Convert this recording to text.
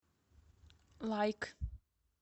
лайк